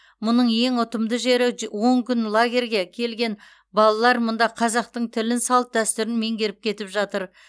мұның ең ұтымды жері он күн лагерьге келген балалар мұнда қазақтың тілін салт дәстүрін меңгеріп кетіп жатыр